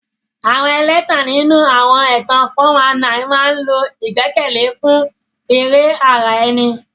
Àwọn ẹlẹ́tàn nínú àwọn ẹ̀tàn 419 máa ń lo ìgbẹ́kẹ̀lé fún èrè ara ẹni.